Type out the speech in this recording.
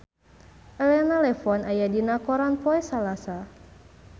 Elena Levon aya dina koran poe Salasa